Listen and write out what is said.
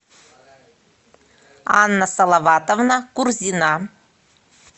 анна салаватовна курзина